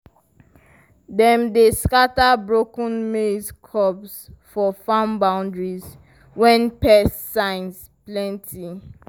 dem dey scatter broken maize cobs for farm boundaries when pest signs plenty.